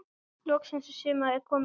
Loksins er sumarið komið.